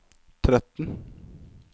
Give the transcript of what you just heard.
tretten